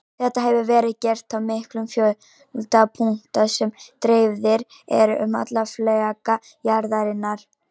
Þetta hefur verið gert á miklum fjölda punkta sem dreifðir eru um alla fleka jarðarinnar.